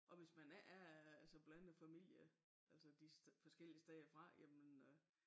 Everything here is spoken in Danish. Og hvis man ikke er altså blandet familie altså de forskellige steder fra jamen øh